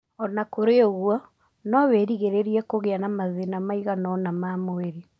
O na kũrĩ ũguo, no wĩrigirĩre kũgĩa na mathĩna maigana ũna ma mwĩrĩ.